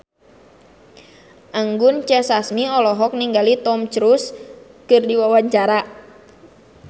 Anggun C. Sasmi olohok ningali Tom Cruise keur diwawancara